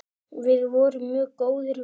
Við vorum mjög góðir vinir.